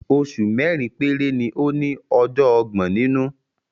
Oṣù mẹ́rin péré ni ó ní ọjọ́ ọgbọ̀n nínú.